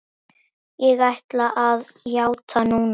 Ég ætla að játa núna.